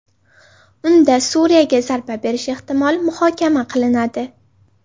Unda Suriyaga zarba berish ehtimoli muhokama qilinadi.